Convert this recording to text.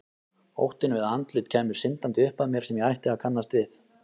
Óttinn við að andlit kæmu syndandi upp að mér sem ég ætti að kannast við.